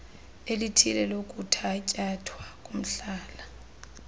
elithile lokuthatyathwa komhlala